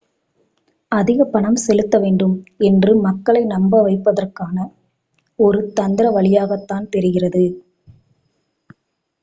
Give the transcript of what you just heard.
அதிக பணம் செலுத்தவேண்டும் என்று மக்களை நம்பவைப்பதற்கான ஒரு தந்திர வழியாகத்தான் தெரிகிறது